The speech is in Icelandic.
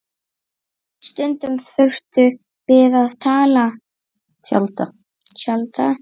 Stundum þurftum við að tjalda.